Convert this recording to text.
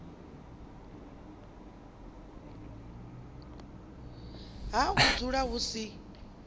ha u dzula hu si